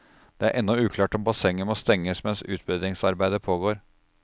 Det er ennå uklart om bassenget må stenges mens utbedringsarbeidet pågår.